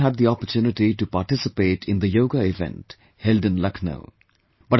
I too had the opportunity to participate in the Yoga event held in Lucknow